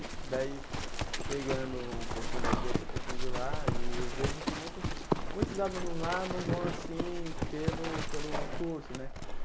E daí, pegando um pouquinho daqui, outro pouquinho de lá, e eu vejo que muitos muitos alunos lá não vão assim pelo pelo curso, né?